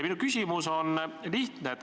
Minu küsimus on lihtne.